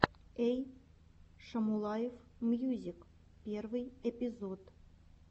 эй шамулаев мьюзик первый эпизод